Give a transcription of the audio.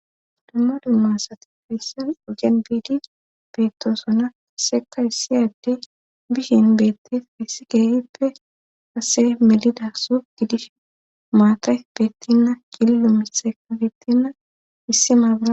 Dumma dumma sati fayssan ojan biidi beettoosona aseka issi adde bishen beette essi geerippe ase melida so gidish maata bettinna killo misea beettinna issi mabara.